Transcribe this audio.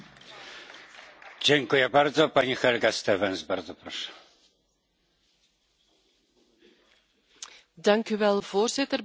Ik wil graag het Estse voorzitterschap danken voor het geleverde werk en de fijne samenwerking in de afgelopen maanden. Het was geen gemakkelijke